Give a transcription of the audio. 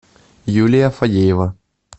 юлия фадеева